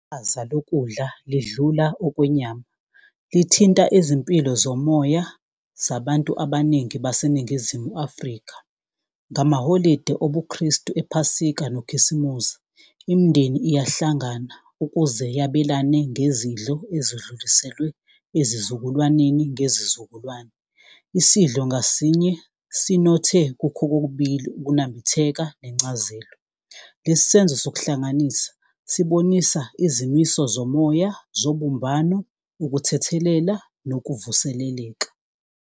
Chaza lokudla lidlula okwenyama, lithinta izimpilo zomoya zabantu abaningi baseNingizimu Afrika, ngamaholide obuKristu ephasika nokhisimuzi, imindeni iyahlangana ukuze yabelane ngezidlo ezidluliselwe ezizukulwaneni ngezizukulwane. Isidlo ngasinye sinothe kukho kokubili ukunambitheka nencazelo. Lesi senzo sokuhlanganisa sibonisa izimiso zomoya zobumbano ukuthethelela nokuvuseleleka.